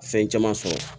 Fɛn caman sɔrɔ